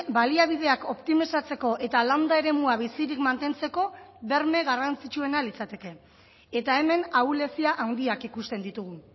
baliabideak optimizatzeko eta landa eremua bizirik mantentzeko berme garrantzitsuena litzateke eta hemen ahulezia handiak ikusten ditugu